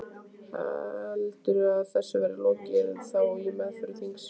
Heldurðu að þessu verði lokið þá í meðförum þingsins?